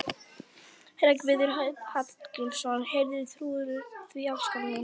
Hreggviður Hallgrímsson: Heyrðu, trúirðu því, elskan mín?